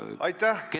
Aitäh!